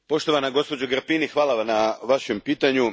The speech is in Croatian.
Poštovana gospođo Grapini, hvala na vašem pitanju.